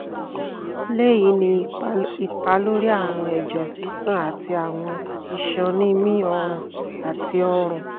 le yi ni ipa lori awọn ẹjẹ sisan ati awọn iṣan ni mi ọrùn ati ọrùn